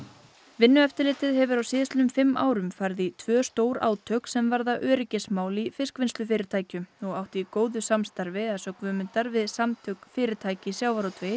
vinnueftirlitið hefur á síðastliðnum fimm árum farið í tvö stór átök sem varða öryggismál í fiskvinnslufyrirtækjum og átt í góðu samstarfi við Samtök fyrirtækja í sjávarútvegi